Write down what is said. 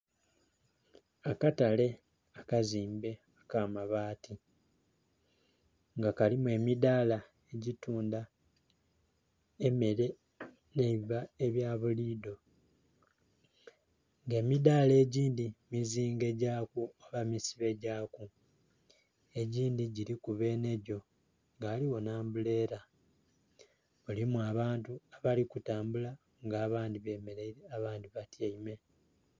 Akatale akazimbe ak'amabaati. Nga kalimu emidaala egitunda emere nh'eiva ebya buli idho. Nga emidaala egindhi mizingegyaku oba misibe gyaku. Egindhi giliku benhegyo nga ghaligho nh'ambuleela. Mulimu abantu abali kutambula, nga abandhi bemeleire, abandhi batyaime.